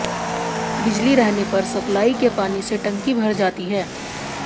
बिजली रहने पर सप्लाई के पानी से टंकी भर जाती है